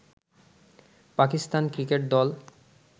Pakistan cricket দল